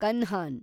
Kanhan